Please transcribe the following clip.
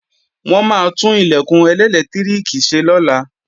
Wọ́n maá tún Ilẹ̀kùn ẹlẹ́lẹtiriki ṣe lọ́la